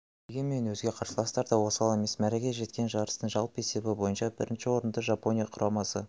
дегенмен өзге қарсыластар да осал емес мәреге жеткен жарыстың жалпы есебі бойынша бірінші орынды жапония құрамасы